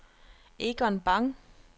Egon Bang